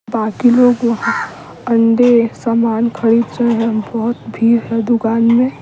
बाकी लोग वहां अंडे सामान खरीद रहे हैं बहुत भीड़ है दुकान में--